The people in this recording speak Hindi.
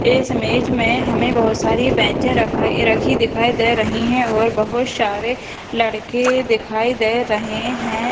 इस इमेज में हमें बहुत सारी बेंचे रखाई रखी दिखाई दे रही हैं और बहुत सारे लड़के दिखाई दे रहे हैं।